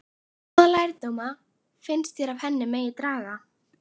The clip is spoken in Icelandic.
Hvaða lærdóma finnst þér af henni megi draga?